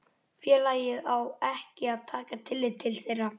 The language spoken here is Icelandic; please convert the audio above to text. félagið á ekki að taka tillit til þeirra.